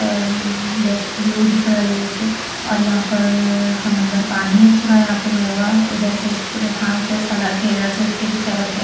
अ black view दिख रहा है ये एक और यहां पर समंदर पानी है पूरा यहां पे भरा हुआ उधर साइड घास है सड़क है इधर साइड से भी सड़क है।